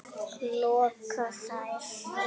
loka þær.